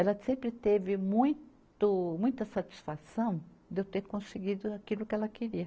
Ela sempre teve muito, muita satisfação de eu ter conseguido aquilo que ela queria.